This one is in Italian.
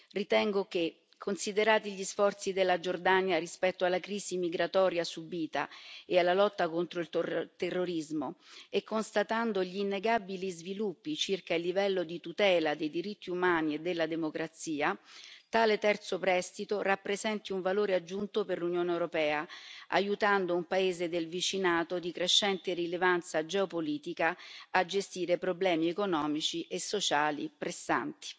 Ritengo che, considerati gli sforzi della Giordania rispetto alla crisi migratoria subita e alla lotta contro il terrorismo, e constatando gli innegabili sviluppi circa il livello di tutela dei diritti umani e della democrazia, tale terzo prestito rappresenti un valore aggiunto per l'Unione europea, aiutando un paese del vicinato di crescente rilevanza geopolitica a gestire problemi economici e sociali pressanti.